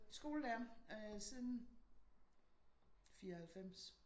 Skolelærer øh siden 94